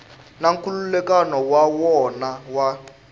na nkhulukelano wa wona wa